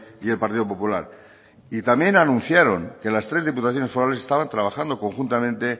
y el partido popular también anunciaron que las tres diputaciones forales estaban trabajando conjuntamente